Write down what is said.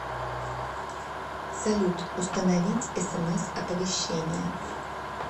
салют установить смс оповещение